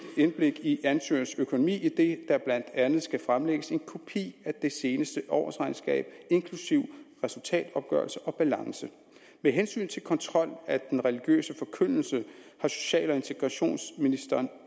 indblik i ansøgernes økonomi idet der blandt andet skal fremlægges en kopi af det seneste årsregnskab inklusive resultatopgørelse og balance med hensyn til kontrol af den religiøse forkyndelse har social og integrationsministeren